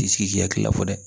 T'i sigi k'i hakili lafɔ dɛ